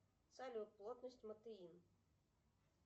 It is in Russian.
салют плотность матеин